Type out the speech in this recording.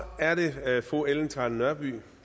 er det fru ellen trane nørby